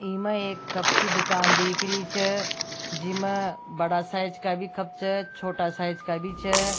ई में एक कप की दूकान दीख री छ जिमे बड़ा साइज का भी कप छ छोटा साइज का भी छ।